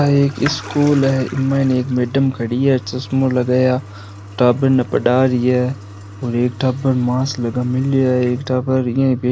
यहाँ एक स्कूल है इनमें एक मैडम खड़ी है चश्मों लगाया टाबर ने पढ़ा रही है और एक टाबर मास्क लगा मिल्यो है एक टाबर यूही बै --